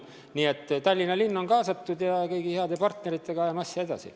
Nii et Tallinna linn on kaasatud ja kõigi heade partneritega ajame asja edasi.